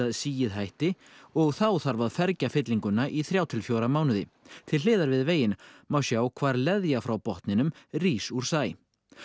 sigið hætti og þá þarf að fergja fyllinguna í þrjá til fjóra mánuði til hliðar við veginn má sjá hvar leðja frá botninum rís úr sæ